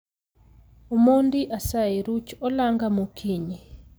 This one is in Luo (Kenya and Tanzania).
Omondi asayi ruch olanga mokinyi